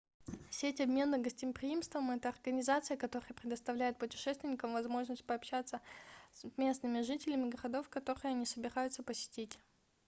сеть обмена гостеприимством это организация которая предоставляет путешественникам возможность пообщаться с местными жителями городов которые они собираются посетить